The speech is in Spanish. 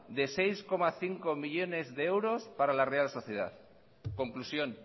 de seis coma cinco millónes de euros para la real social conclusión